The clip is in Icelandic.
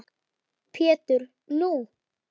Pétur: Nú!